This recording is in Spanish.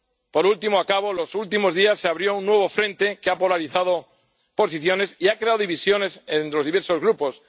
Por último, los últimos días se abrió un nuevo frente que ha polarizado posiciones y ha creado divisiones en los diversos grupos.